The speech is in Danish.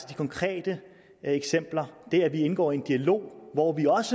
de konkrete eksempler det at vi indgår i en dialog hvor vi også